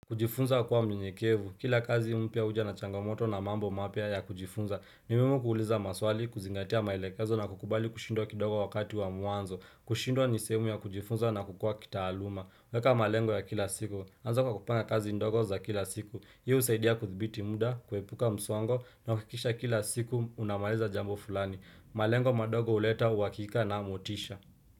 Kujifunza kuwa mnyenyekevu. Kila kazi mpya huja na changamoto na mambo mapya ya kujifunza. Nimuhimu kuuliza maswali, kuzingatia maelekazo na kukubali kushindwa kidogo wakati wa mwanzo. Kushindwa nisehemu ya kujifunza na kukua kitaaluma. Weka malengo ya kila siku. Anza kwa kupanga kazi ndogo za kila siku. Hii husaidia kudhibiti muda, kuepuka msongo na kuhakikisha kila siku unamaliza jambo fulani. Malengo madogo huleta, uhakika na motisha.